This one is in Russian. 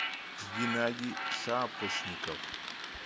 геннадий шапошников